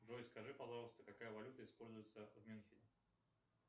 джой скажи пожалуйста какая валюта используется в мюнхене